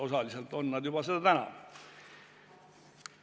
Osaliselt on nad seda juba täna.